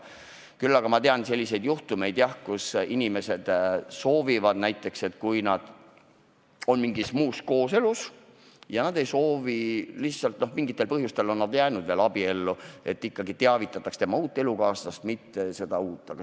Küll aga tean selliseid juhtumeid, kus inimesed soovivad, et kui nad on näiteks uues kooselus, aga mingitel põhjustel jäänud veel abiellu, siis teavitataks ikkagi seda uut elukaaslast, mitte vana.